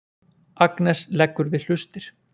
Agnes leggur við hlustir.